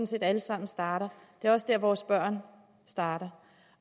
set alle sammen starter det er også dér vores børn starter